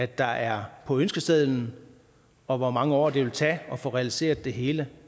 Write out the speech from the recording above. der er på ønskesedlen og hvor mange år det vil tage at få realiseret det hele